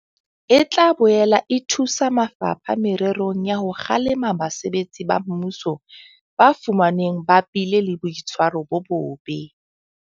E tla boela e thusa mafapha mererong ya ho kgalema basebetsi ba mmuso ba fumanwang ba bile le boitshwaro bo bobe.